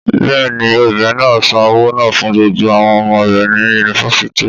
Bẹ́ẹ̀ ni, obìnrin náà san owó náà fún gbogbo àwọn ọmọ rẹ̀ ní Yunifásítì.